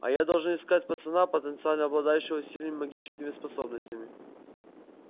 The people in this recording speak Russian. а я должен искать пацана потенциально обладающего сильным магическими способностями